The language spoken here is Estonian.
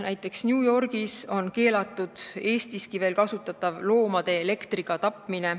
Näiteks on New Yorgi osariigis keelatud Eestiski veel kasutatav loomade elektriga tapmine.